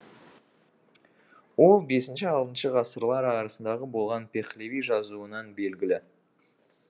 ол бесінші алтыншы ғасырлар арасындағы болған пехлеви жазуынан белгілі